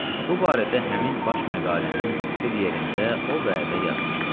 Bu barədə həmin baş məqalənin bir yerində o vədə yazmışdıq.